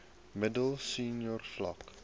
middel senior vlak